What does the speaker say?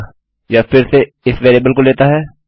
अतः यह फिर से इस वेरिएबल को लेता है